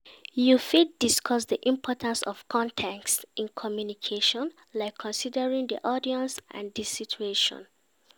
You fit discuss di importance of context in communication, like considering di audience and di situation.